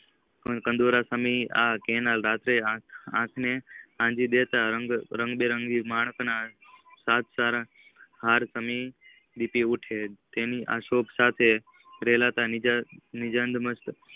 કાંઠાળા સમિટ ના કેનાલ ના રાત્રે આઠ ને આજી દેતા રણબેરંગી માણશ ના સાતસારણ હાર સમિટ લીતીઉથી તેની અશોક સાથે રેલાતા રિકતમસ્ત